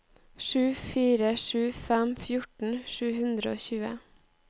sju fire sju fem fjorten sju hundre og tjue